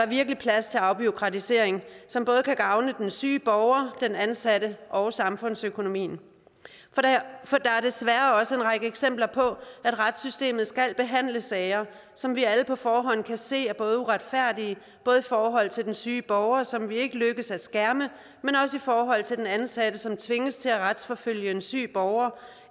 virkelig plads til afbureaukratisering som både kan gavne den syge borger den ansatte og samfundsøkonomien for der er desværre også en række eksempler på at retssystemet skal behandle sager som vi alle på forhånd kan se er uretfærdige både i forhold til den syge borger som vi ikke lykkes med at skærme og i forhold til den ansatte som tvinges til at retsforfølge en syg borger